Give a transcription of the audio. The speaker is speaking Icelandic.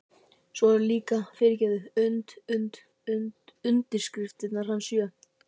Svo eru líka, fyrirgefðu, und und und undirskriftirnar hans sjö.